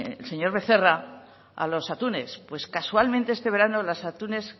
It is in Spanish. el señor becerra a los atunes casualmente este verano los atunes